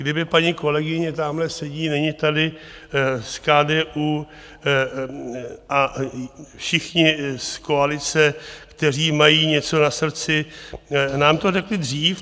Kdyby paní kolegyně, tamhle sedí, není tady, z KDU a všichni z koalice, kteří mají něco na srdci, nám to řekli dřív.